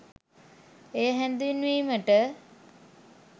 එය හැඳින්වීමට